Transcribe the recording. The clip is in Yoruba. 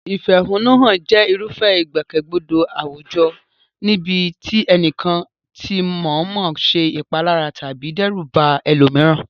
Ìfẹ̀hónúhàn jẹ́ irúfẹ́ ìgbòkègbodò àwùjọ níbi tí ẹnìkan ti mọ̀ọ́mọ̀ ṣe ìpalára tàbí dẹ́rù ba ẹlòmíràn.